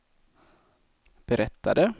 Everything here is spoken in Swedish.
berättade